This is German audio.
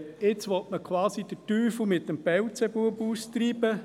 Jetzt will man den Teufel mit dem Beelzebub austreiben.